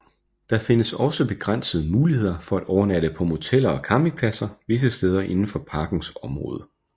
Der findes også begrænsede muligheder for at overnatte på moteller og campingpladser visse steder indenfor parkens område